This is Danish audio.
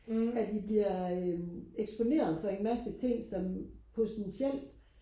at de bliver øh eksponeret for en masse ting som potentielt